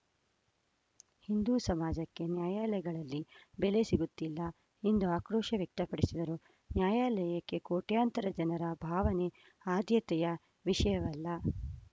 ಹಿಂದೂ ಸಮಾಜಕ್ಕೆ ನ್ಯಾಯಾಲಯಗಳಲ್ಲಿ ಬೆಲೆ ಸಿಗುತ್ತಿಲ್ಲ ಎಂದು ಆಕ್ರೋಶ ವ್ಯಕ್ತಪಡಿಸಿದರು ನ್ಯಾಯಾಲಯಕ್ಕೆ ಕೋಟ್ಯಂತರ ಜನರ ಭಾವನೆ ಆದ್ಯತೆಯ ವಿಷಯವಲ್ಲ